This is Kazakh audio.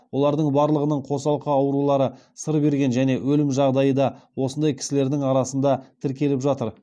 олардың барлығының қосалқы аурулары сыр берген және өлім жағдайы да осындай кісілердің арасында тіркеліп жатыр